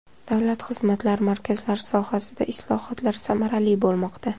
Davlat xizmatlari markazlari sohasida islohotlar samarali bo‘lmoqda.